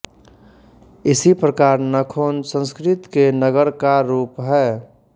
इसी प्रकार नखोन संस्कृत के नगर का रूप है